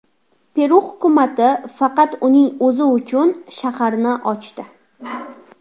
Peru hukumati faqat uning o‘zi uchun shaharni ochdi.